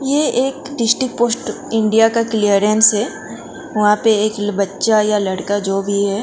ये एक district post India का क्लियरेंस है वहां पे एक बच्चा या लड़का जो भी है।